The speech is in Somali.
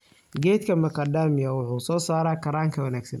Geedka macadamia wuxuu soo saaraa kaaranga wanaagsan.